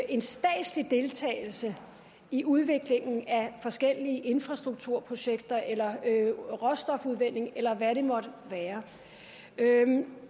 en statslig deltagelse i udviklingen af forskellige infrastrukturprojekter eller råstofudvinding eller hvad det måtte være